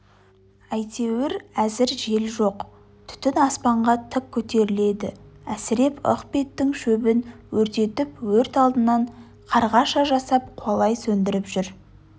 әйтеуір әзір жел жоқ түтін аспанға тік көтеріледі әсіреп ық беттің шөбін өртетіп өрт алдынан қарғаша жасап қуалай сөндіріп жүр